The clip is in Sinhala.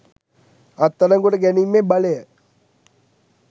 අත්අඩංගුවට ගැනීමේ බලය